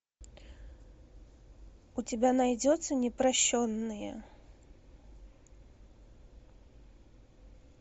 у тебя найдется непрощенные